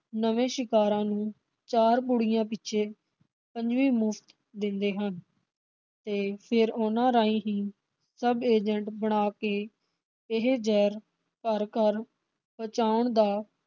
ਨਵੇ ਸ਼ਿਕਾਰਾਂ ਨੂੰ ਚਾਰ ਪੁੜੀਆਂ ਪਿਛੇ ਪੰਜਵੀਂ ਮੁਫਤ ਦਿੰਦੇ ਹਨ ਤੇ ਫਿਰ ਉਨ੍ਹਾਂ ਰਾਹੀ ਹੀ ਸਬ agent ਬਣਾ ਕੇ ਇਹ ਜਹਿਰ ਘਰ ਘਰ ਪਹੁੰਚਾਉਣ ਦਾ